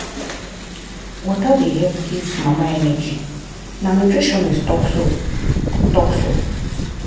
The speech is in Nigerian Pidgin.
water dey help give mama energy na nutritionist talk so. talk so.